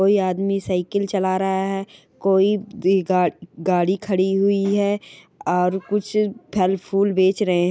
कोई आदमी साइकल चला रहा है कोई ग गाड़ी खड़ी हुई है और कुछ फल-फूल बेच रहे--